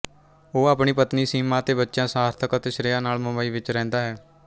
ਉਹ ਆਪਣੀ ਪਤਨੀ ਸੀਮਾ ਅਤੇ ਬੱਚਿਆਂ ਸਾਰਥਕ ਅਤੇ ਸ਼੍ਰੇਆ ਨਾਲ ਮੁੰਬਈ ਵਿਚ ਰਹਿੰਦਾ ਹੈ